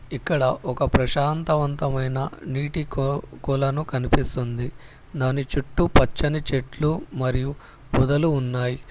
ఇక్కడ ఒక ప్రశాంతవంతమైన నీటికొ కొలను కనిపిస్తుంది దాని చుట్టూ పచ్చని చెట్లు మరియు పొదలు ఉన్నాయి.